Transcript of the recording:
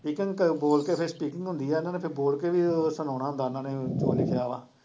ਬੋਲਕੇ ਫਿਰ speaking ਹੁੰਦੀ ਆ ਇਹਨਾਂ ਨੇ ਫਿਰ ਬੋਲਕੇ ਵੀ ਸੁਣਾਉਣਾ ਹੁੰਦਾ ਇਹਨਾਂ ਨੇ ਜੋ ਲਿਖਿਆ ਵਾ